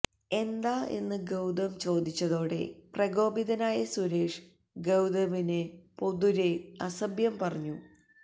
എന്താ എന്ന് ഗൌതം ചോദിച്ചതോടെ പ്രകോപിതനായ സുരേഷ് ഗൌതമിനെ പൊതുരെ അസഭ്യം പറഞ്ഞു